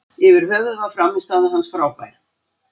Yfir höfuð var frammistaða hans frábær.